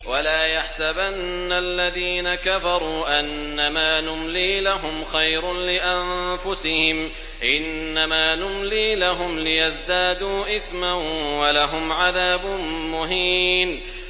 وَلَا يَحْسَبَنَّ الَّذِينَ كَفَرُوا أَنَّمَا نُمْلِي لَهُمْ خَيْرٌ لِّأَنفُسِهِمْ ۚ إِنَّمَا نُمْلِي لَهُمْ لِيَزْدَادُوا إِثْمًا ۚ وَلَهُمْ عَذَابٌ مُّهِينٌ